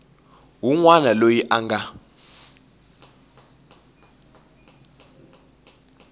wun wana loyi a nga